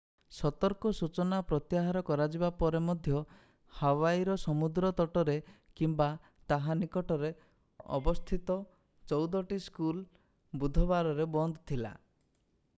ସତର୍କ ସୂଚନା ପ୍ରତ୍ୟାହାର କରାଯିବା ପରେ ମଧ୍ୟ ହାୱାଇର ସମୁଦ୍ର ତଟରେ କିମ୍ବା ତାହା ନିକଟରେ ଅବସ୍ଥିତ ଚଉଦଟି ସ୍କୁଲ ବୁଧବାରରେ ବନ୍ଦ ଥିଲା